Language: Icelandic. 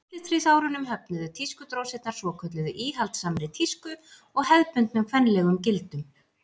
á millistríðsárunum höfnuðu tískudrósirnar svokölluðu íhaldssamri tísku og hefðbundnum kvenlegum gildum